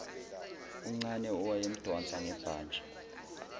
uncane owayemdonsa ngebhantshi